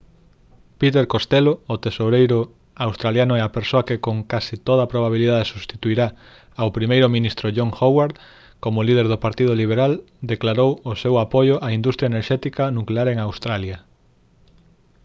peter costello o tesoureiro australiano e a persoa que con case toda probabilidade substituirá ao primeiro ministro john howard como líder do partido liberal declarou o seu apoio á industria enerxética nuclear en australia